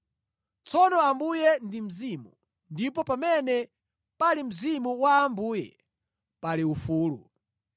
Tsono Ambuye ndi Mzimu, ndipo pamene pali Mzimu wa Ambuye, pali ufulu.